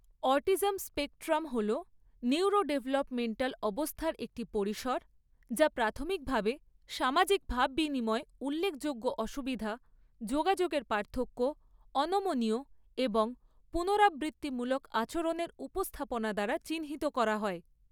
Autism spectrum হল neurodevelopmental অবস্থার একটি পরিসর যা প্রাথমিকভাবে সামাজিক ভাববিনিময়ে উল্লেখযোগ্য অসুবিধা, যোগাযোগের পার্থক্য এবং অনমনীয় এবং পুনরাবৃত্তিমূলক আচরণের উপস্থাপনা দ্বারা চিহ্নিত করা হয়।